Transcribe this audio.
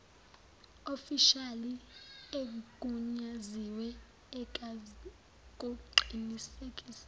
ofishali egunyaziwe izakuqinisekisa